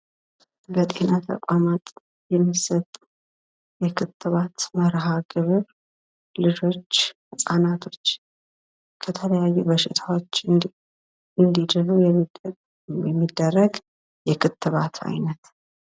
በጤና ተቋማጥ የሚሰጡ የክትባት መርሃግብር ልጆች ሕፃናቶች ከተለያዩ በሽታዎች እንዲድኑ የሚደረግ የክትባት አይነት ነው::